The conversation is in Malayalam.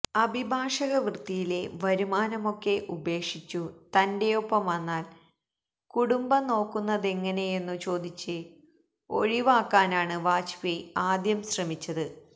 അഭിഭാഷക വൃത്തിയിലെ വരുമാനമൊക്കെ ഉപേക്ഷിച്ചു തന്റെയൊപ്പം വന്നാൽ കുടുംബം നോക്കുന്നതെങ്ങനെയെന്നു ചോദിച്ച് ഒഴിവാക്കാനാണ് വാജ്പേയി ആദ്യം ശ്രമിച്ചത്